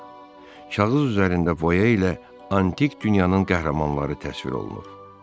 Kağız üzərində boya ilə antik dünyanın qəhrəmanları təsvir olunub.